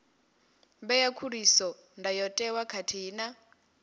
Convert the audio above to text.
ṅea khuliso ndayotewa khathihi na